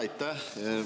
Aitäh!